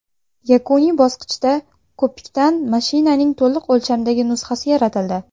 Yakuniy bosqichda ko‘pikdan mashinaning to‘liq o‘lchamdagi nusxasi yaratildi.